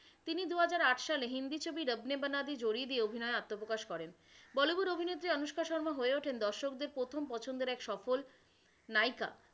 তিনি দু হাজার আট সালে হিন্দি ছবি রব নে বানাদি জোড়ি দিয়ে অভিনয়ে আত্মপ্রকাশ করেন। বলিউড অভিনেত্রী অনুষ্কা শর্মা হয়ে ওঠেন দর্শকদের প্রথম পছন্দের এক সফল নায়িকা।